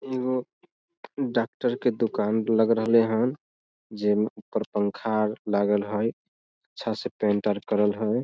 इहो डाक्टर के दुकान लग रहले हैन जे में ऊपर पंखा आर लागल हई अच्छा से पेंट आर करल हई।